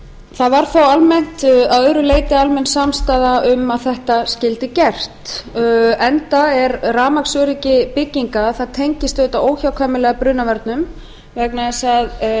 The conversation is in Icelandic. það var þó að öðru leyti almennt samstaða um að þetta skyldi gert enda tengist rafmagnsöryggi bygginga auðvitað óhjákvæmilega brunavörnum vegna þess að